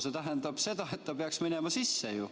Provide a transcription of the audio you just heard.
See tähendab seda, et see peaks minema sisse ju.